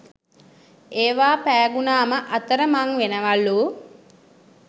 ඒවා පෑගුනාම අතර මං වෙනවලු